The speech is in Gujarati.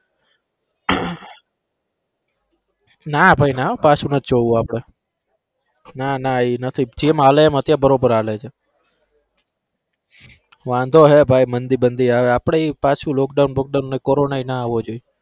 ના ભાઈ ના પાછુ નથ જોવું આપડે ના ના ઈ નથી જેમ હાલે એમ અત્યારે બરોબર હાલે છે વાંધો હે ભાઈ મંદી બંદી આવે આપણે પાછુ lockdown બોકડાઉન કોરોના ભી ના આવો જોઈએ.